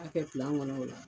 K'a kɛ kɔnɔ o la